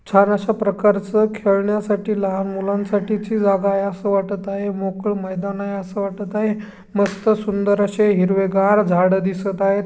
छान अशा प्रकारच खेळण्यासाठी लहान मुलांनसाठीची जागा आहे. अस वाटत आहे. मोकळ मैदान आहे. अस वाटत आहे. मस्त सुंदर असे हिरवे घार झाड दिसत आहेत.